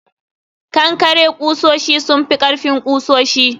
kankare kusoshi sun fi ƙarfin kusoshi